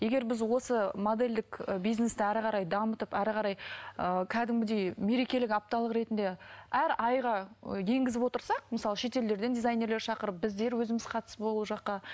егер біз осы модельдік і бизнесті әрі қарай дамытып әрі қарай ыыы кәдімгідей мерекелік апталық ретінде әр айға і енгізіп отырсақ мысалы шетелдерден дизайнерлер шақырып біздер өзіміз қатысып ол жаққа